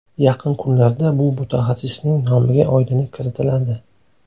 Yaqin kunlarda bu mutaxassisning nomiga oydinlik kiritiladi.